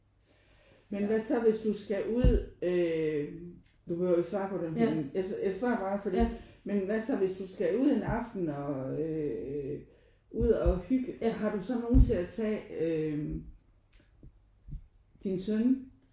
Men hvad så hvis du skal ud øh du behøver jo ikke at svare på det men jeg spørger bare fordi men hvad så hvis du skal ud en aften og øh ud og hygge har du så nogen til at tage øh din søn?